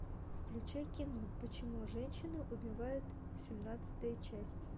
включай кино почему женщины убивают семнадцатая часть